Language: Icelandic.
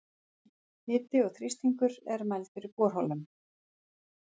Hiti og þrýstingur er mældur í borholum.